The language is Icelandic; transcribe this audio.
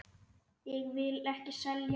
Ég vil ekki selja.